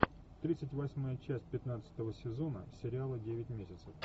тридцать восьмая часть пятнадцатого сезона сериала девять месяцев